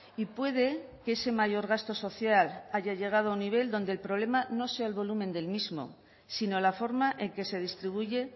y puede que ese mayor gasto social haya llegado a un nivel donde el problema no sea el volumen del mismo sino la forma en que se distribuye